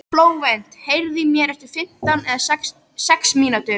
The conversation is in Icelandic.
Flóvent, heyrðu í mér eftir fimmtíu og sex mínútur.